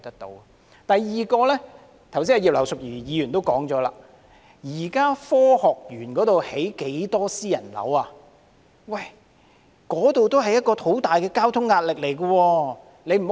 第二，葉劉淑儀議員剛才也提到，現在科學園有很多新建的私人屋苑，面對很大交通壓力。